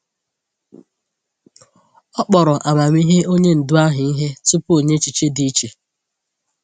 Ọ kpọrọ amamihe onye ndu ahụ ihe tupu o nye echiche dị iche.